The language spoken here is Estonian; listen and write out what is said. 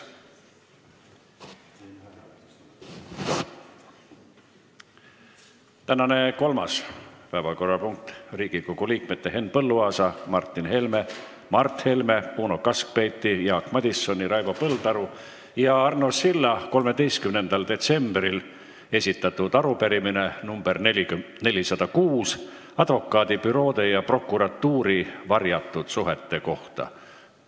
Tänane kolmas päevakorrapunkt on Riigikogu liikmete Henn Põlluaasa, Martin Helme, Mart Helme, Uno Kaskpeiti, Jaak Madisoni, Raivo Põldaru ja Arno Silla 13. detsembril esitatud arupärimine advokaadibüroode ja prokuratuuri varjatud suhete kohta.